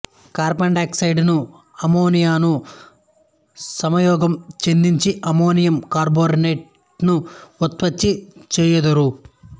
కార్బండై oxide ను అమ్మోనియాను సంయోగం చెందించి అమ్మోనియం బైకార్బోనేట్ ను ఉత్పత్తి చెయ్యుదురు